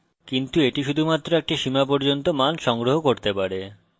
কিন্তু এটি শুধুমাত্র একটি সীমা পর্যন্ত মান সংগ্রহ করতে পারে